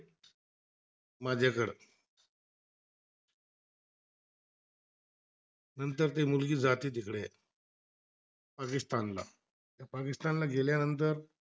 नंतर ती मुलगी जाते तिकड पाकिस्तानला, पाकिस्तानला गेल्यानंतर